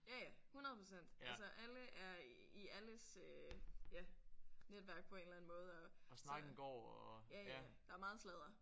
Ja ja 100 % altså alle er i alles øh ja netværk på en eller anden måde og så ja ja der er meget sladder